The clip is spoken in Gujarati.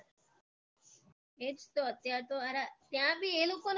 એ જ તો અત્યાર તો સારા ત્યાબી એ લોકોને